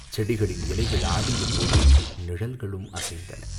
செடிகளின் இலைகள் ஆடியபோது நிழல்களும் அசைந்தன.